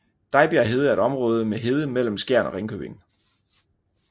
Dejbjerg Hede er et område med hede mellem Skjern og Ringkøbing